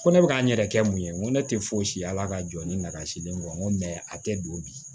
Ko ne bɛ k'an yɛrɛ kɛ mun ye n ko ne tɛ foyi si ya ala ka jɔ ni n ka sidilen ye n ko mɛ a tɛ don bi